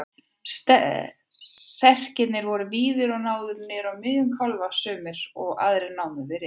Serkirnir voru víðir og náðu niður á miðja kálfa sumir, aðrir námu við rist.